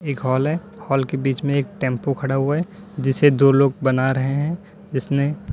एक हाल है हाल के बीच में एक टेंपू खड़ा हुआ है जिसे दो लोग बना रहे हैं जिसने--